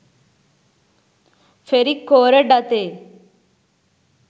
ferric කෝරඩ් අතේ